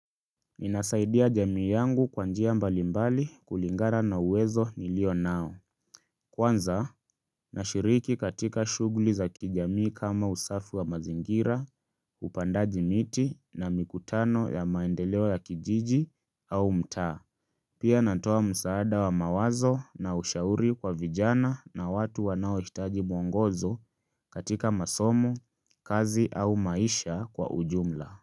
Ninasaidia jamii yangu kwa njia mbalimbali kulingana na uwezo nilio nao Kwanza, nashiriki katika shugli za kijamii kama usafi wa mazingira, upandaji miti na mikutano ya maendeleo ya kijiji au mta Pia natowa msaada wa mawazo na ushauri kwa vijana na watu wanaohitaji mwongozo katika masomo, kazi au maisha kwa ujumla.